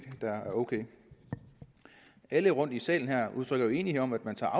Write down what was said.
er ok alle rundtom i salen her udtrykker jo enighed om at der